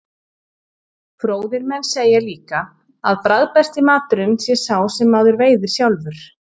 fróðir menn segja líka að bragðbesti maturinn sé sá sem maður veiðir sjálfur